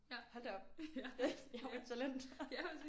Hold da op jeg er jo et talent